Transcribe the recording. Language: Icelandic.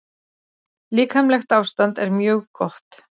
Líkamlegt ástand er mjög gott.